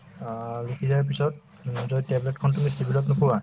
অ, লিখি দিয়াৰ পিছত যদি tablet তুমি civil ত নোপোৱা